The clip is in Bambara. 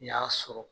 N y'a sɔrɔ